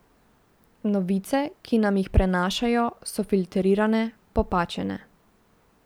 Novice, ki nam jih prenašajo, so filtrirane, popačene.